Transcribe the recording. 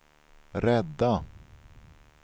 rädda